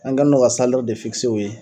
An kɛni no ka u ye